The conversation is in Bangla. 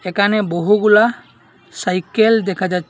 একানে বহুগুলা সাইকেল দেখা যা--